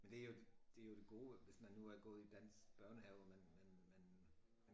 Men det jo det jo det gode hvis man nu har gået i dansk børnehave og man man man